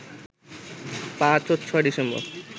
৫ ও ৬ ডিসেম্বর